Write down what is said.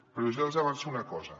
però ja els avanço una cosa